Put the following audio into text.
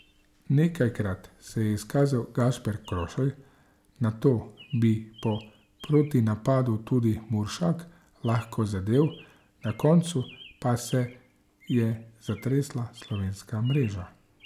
Nekajkrat se je izkazal Gašper Krošelj, nato bi po protinapadu tudi Muršak lahko zadel, na koncu pa se je zatresla slovenska mreža.